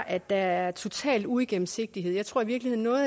at der er total uigennemsigtighed jeg tror i virkeligheden at